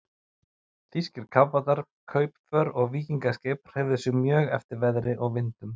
Þýskir kafbátar, kaupför og víkingaskip hreyfðu sig mjög eftir veðri og vindum.